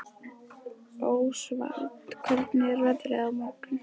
Ósvald, hvernig er veðrið á morgun?